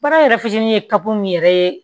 Baara yɛrɛ fitinin ye kabu yɛrɛ ye